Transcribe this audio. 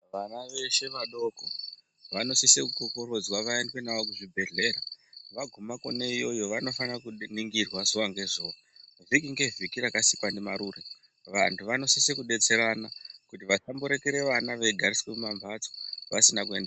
Vana veshe vadoko vanosisa kukokorodzwa vaendwe navo kuzvibhedhlera vaguma Kona iyoyo vanofana kuningirwa zuwa ngezuwa, vhiki ngevhiki rakasikwa ndimarure vantu vanosisa kudetserana kuti vakamborekere vana veigariswa pambatso vasina kuende.